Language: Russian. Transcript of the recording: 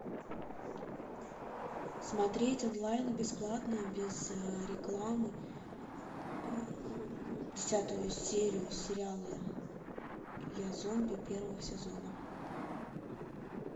смотреть онлайн бесплатно без рекламы десятую серию сериала я зомби первого сезона